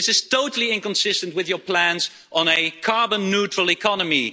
This is totally inconsistent with your plans on a carbon neutral economy.